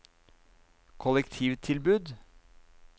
kollektivtilbud